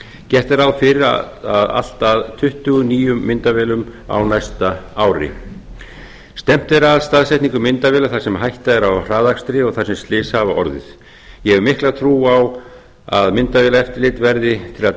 gert er ráð fyrir að allt að tuttugu nýjum myndavélum á næsta ári stefnt er að staðsetningu myndavéla þar sem hætta er á hraðakstri og þar sem slys hafa orðið ég hef mikla trú á að myndavélaeftirlit verði til að